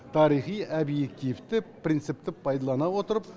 тарихи обьективті принципті пайдалана отырып